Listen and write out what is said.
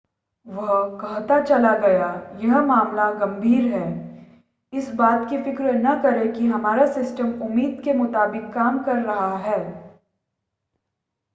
वह कहता चला गया यह मामला गंभीर है इस बात की फ़िक्र न करें कि हमारा सिस्टम उम्मीद के मुताबिक काम कर रहा है